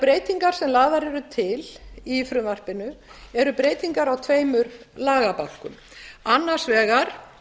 breytingar sem lagðar eru til í frumvarpinu eru breytingar á tveimur lagabálkum annars vegar